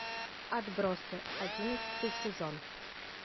отбросы одиннадцатый сезон